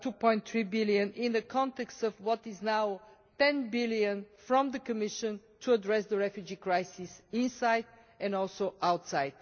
2.3 billion in the context of what is now 10 billion from the Commission to address the refugee crisis inside and also outside.